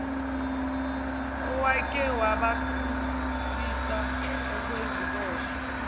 owake wabaqhubisa okweziboshwa